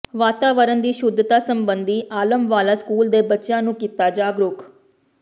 ਵਾਤਾਵਰਨ ਦੀ ਸ਼ੁੱਧਤਾ ਸਬੰਧੀ ਆਲਮਵਾਲਾ ਸਕੂਲ ਦੇ ਬੱਚਿਆਂ ਨੂੰ ਕੀਤਾ ਜਾਗਰੂਕ